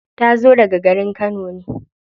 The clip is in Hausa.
Ta zo daga garin kano ne.